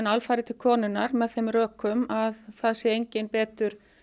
alfarið til konunnar með þeim rökum að það sé enginn betur